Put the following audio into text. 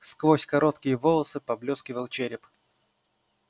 сквозь короткие волосы поблескивал череп